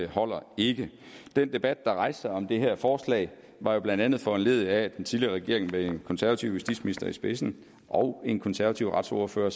holder ikke den debat der rejste sig om det her forslag var jo blandt andet foranlediget af at den tidligere regering med en konservativ justitsminister i spidsen og en konservativ retsordfører